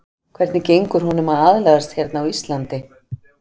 Hvernig gengur honum að aðlagast hérna á Íslandi?